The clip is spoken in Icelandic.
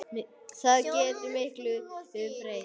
Það getur miklu breytt.